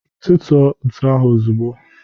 Tutuo ntụ ahụ ozugbo